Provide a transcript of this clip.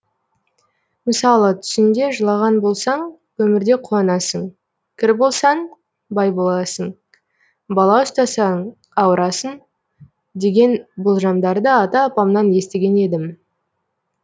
мысалы түсіңде жылаған болсаң өмірде қуанасың кір болсаң бай боласың бала ұстасаң ауырасың деген болжамдарды ата апамнан естіген едім